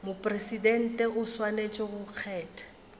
mopresidente o swanetše go kgetha